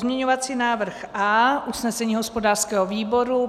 Pozměňovací návrh A - usnesení hospodářského výboru.